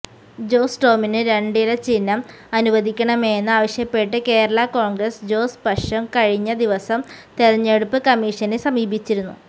ജോസ് ടോമിന് രണ്ടില ചിഹ്നം അനുവദിക്കണമെന്ന് ആവശ്യപ്പെട്ട് കേരള കോണ്ഗ്രസ് ജോസ് പക്ഷം കഴിഞ്ഞ ദിവസം തെരഞ്ഞെടുപ്പ് കമ്മീഷനെ സമീപിച്ചിരുന്നു